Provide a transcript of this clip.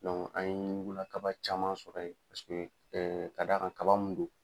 an ye ɲugula kaba caman sɔrɔ yen, paseke kada kan kaba mun don.